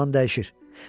Zaman dəyişir.